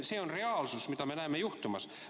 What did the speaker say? See on reaalsus, mida me näeme juhtumas.